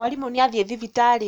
Mwarimũ nĩathiĩ thibitarĩ